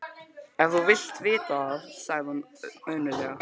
Ef þú vilt vita það, sagði hún önuglega